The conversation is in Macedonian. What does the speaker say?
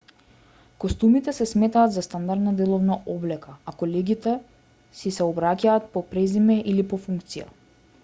костумите се сметаат за стандардна деловна облека а колегите си се обраќаат по презиме или по функција